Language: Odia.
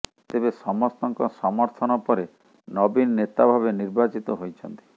ତେବେ ସମସ୍ତଙ୍କ ସମର୍ଥନ ପରେ ନବୀନ ନେତା ଭାବେ ନିର୍ବାଚିତ ହୋଇଛନ୍ତି